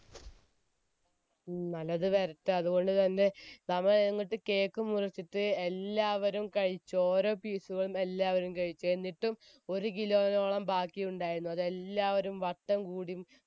ഉം നല്ലത് വരട്ടെ അതുകൊണ്ട് തന്നെ cake മുറിച്ചിട്ട് എല്ലാവരും കഴിച്ച് ഓരോ piece എല്ലാവരും എന്നിട്ടും ഒരു kilo നോളം ബാക്കി ഉണ്ടായിരുന്നു അത് എല്ലാവരും വട്ടം കൂടി